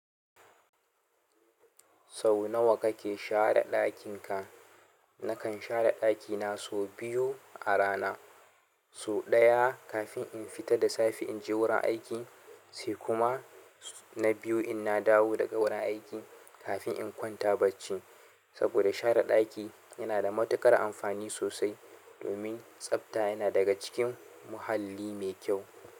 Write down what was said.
Sau nawa kake share ɗakinka? Nakan share ɗakina sau biyu a rana. Sau ɗaya kafin in fita da safe in je wurin aiki, sai kuma na biyu in na dawo daga wurin aiki kafin in kwanta baci. Saboda share ɗaki yana da matuƙar amfani sosai domin tsafta yana daga cikin muhalli mai kyau.